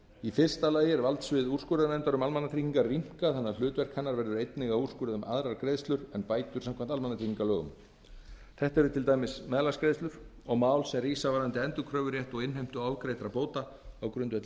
í fyrsta lagi er valdsvið úrskurðarnefndar um almannatryggingar rýmkað þannig að hlutverk hennar verður einnig að úrskurða um aðrar greiðslur en bætur samkvæmt almannatryggingalögum þetta eru til dæmis meðlagsgreiðslur og mál sem rísa varðandi endurkröfurétt og innheimtu ofgreiddra bóta á grundvelli